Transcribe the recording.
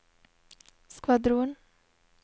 skvadron